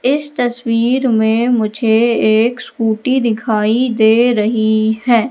इस तस्वीर में मुझे एक स्कूटी दिखाई दे रही है।